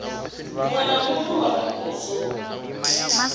muṅwe na muṅwe wa muvhuso